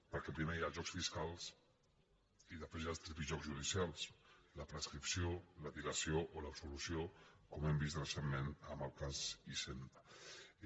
per·què primer hi ha els jocs fiscals i després hi ha els tripijocs judicials la prescripció la dilació o l’absolu·ció com hem vist recentment amb el cas hisenda